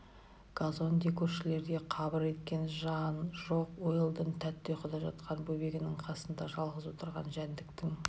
казонде көшелерінде қыбыр еткен жан жоқ уэлдон тәтті ұйқыда жатқан бөбегінің қасында жалғыз отырған жәндіктің